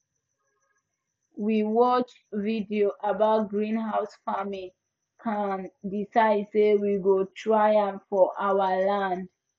we watch video about greenhouse farming kan decide say we go try am for our land